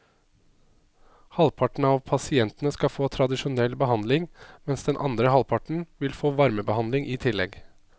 Halvparten av pasientene skal få tradisjonell behandling, mens den andre halvparten vil få varmebehandling i tillegg.